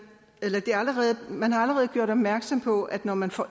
man har allerede gjort opmærksom på at når man får